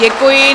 Děkuji.